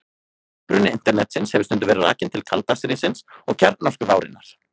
Uppruni Internetsins hefur stundum verið rakinn til kalda stríðsins og kjarnorkuvárinnar.